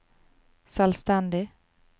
selvstendig